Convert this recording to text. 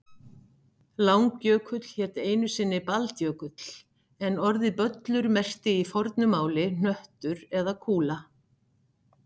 Langjökull hét einu sinni Baldjökull en orðið böllur merkti í fornu máli hnöttur eða kúla.